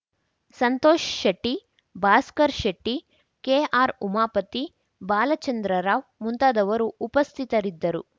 Santosh Shetty Bhaskar Shetty K R Umapathi Balachandra Rao ಮುಂತಾದವರು ಉಪಸ್ಥಿತರಿದ್ದರು